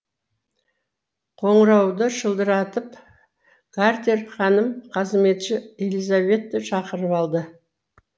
қонырауды шылдыратып гартер ханым қазметші элизабетті шақырып алды